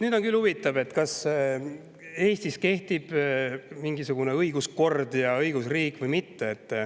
Nüüd on küll huvitav, kas Eestis kehtib mingisugune õiguskord ja õigusriik või mitte.